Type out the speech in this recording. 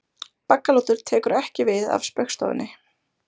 Baggalútur tekur ekki við af Spaugstofunni